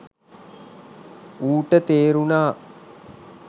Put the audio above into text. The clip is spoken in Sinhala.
ඌට තේරුණා